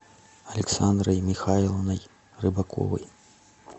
александрой михайловной рыбаковой